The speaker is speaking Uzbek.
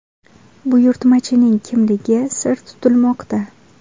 Buyurtmachining kimligi sir tutilmoqda.